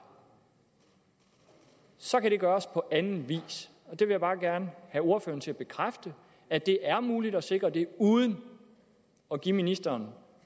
så kan det gøres på anden vis jeg vil bare gerne have ordføreren til at bekræfte at det er muligt at sikre det uden at give ministeren